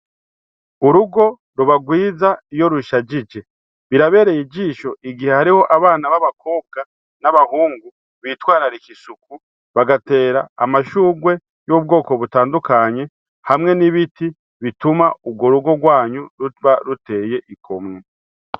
Urugo ruba rwiza iyo rushajije. Birabereye ijisho igihe hariho abana b'abakobwa n'abahungu bitwararika isuku, bagatera amashugwe y'ubwoko butandukanye hamwe n'ibiti bituma urwo rugo rwanyu ruguma ruteye igomwe.